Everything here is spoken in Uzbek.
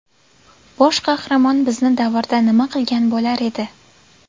Bosh qahramon bizni davrda nima qilgan bo‘lar edi?